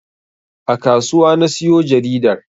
A kasuwa na siyo jaridar